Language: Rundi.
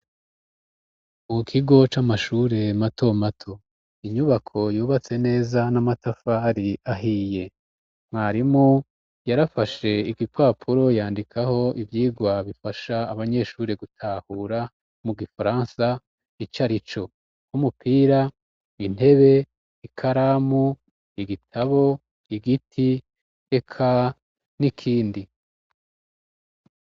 mu kigo c'amashure mato mato inyubako yubatse neza n'amatafari ahiye mwarimu yarafashe igipapuro yandikaho ivyigwa bifasha abanyeshure gutahura mu gifaransa icarico k'umupira intebe ikaramu igitabo igiti eka n'ikindi